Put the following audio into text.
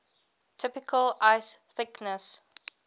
typical ice thickness